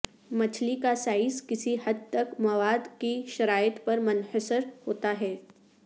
مچھلی کا سائز کسی حد تک مواد کی شرائط پر منحصر ہوتا ہے